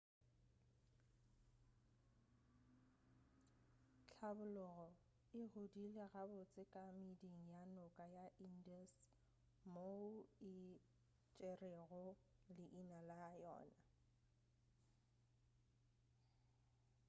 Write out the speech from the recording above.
hlabologo e godile gabotse ka meeding ya noka ya indus moo e tšerego leina la yona